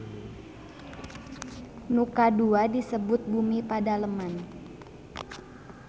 Nu kadua disebut Bumi Padaleman.